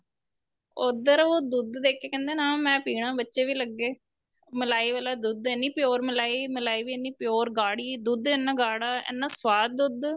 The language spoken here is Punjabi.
ਉੱਧਰ ਉਹ ਦੁੱਧ ਦੇਖ ਕੇ ਕਹਿੰਦੇ ਨਾ ਮੈਂ ਪੀਣਾ ਬੱਚੇ ਵੀ ਲੱਗੇ ਮਲਾਈ ਵਾਲਾ ਦੁੱਧ ਇੰਨੀ pure ਮਲਾਈ ਮਲਾਈ ਵੀ ਇੰਨੀ pure ਗਾੜੀ ਦੁੱਧ ਇੰਨਾ ਗਾੜਾ ਇੰਨਾ ਸਵਾਦ ਦੁੱਧ